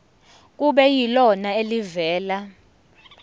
kube yilona elivela